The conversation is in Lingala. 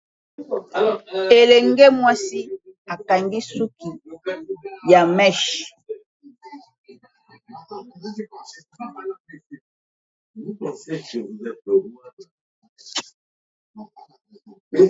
Elenge mwasi akangi suki ya meshe!